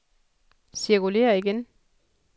cirkulér igen